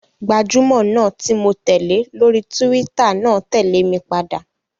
Gbajúmọ̀ náà ti mó tẹ̀lé lórí túwítà náà tẹ̀lé mi padà